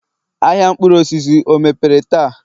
ahịa mkpụrụ osisi o mepere taa?